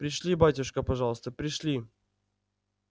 пришли батюшка пожалуйста пришли